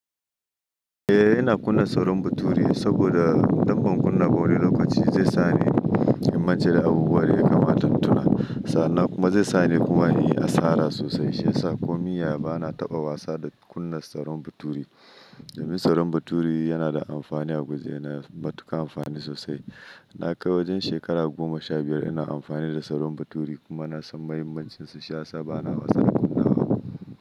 Eh ina kunna salon baturi saboda dangon kunna wuri lokaci zai sa ni in mance da abubuwa da ya kamat in tuna. Sannan kuma zai sa ni kuma in yi asara sosai shi ya sa ko miya ba na taɓa wasa da kunna salon baturi. Domin salon baturi yana da amfani a guje na matuka amfani sosai. Na kai wajen shekara goma sha biyar ina amfani da salon baturi kuma na san mahimmancin su shi ya sa ba na wasa da kunna hawa.